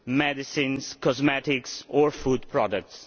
medicines, cosmetics and food products.